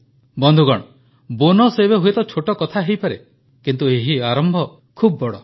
ବନ୍ଧୁଗଣ ବୋନସ୍ ଏବେ ହୁଏତ ଛୋଟ କଥା ହୋଇପାରେ କିନ୍ତୁ ଏହି ଆରମ୍ଭ ବହୁତ ବଡ଼